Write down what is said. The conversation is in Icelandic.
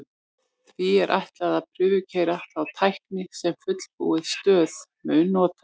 því er ætlað að prufukeyra þá tækni sem fullbúin stöð mun nota